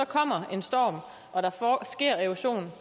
kommer en storm og der sker erosion